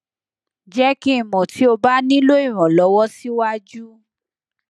jẹ ki n mọ ti o ba nilo iranlọwọ siwaju